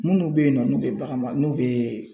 Munnu be yen nɔ n'u be bagan mara n'u be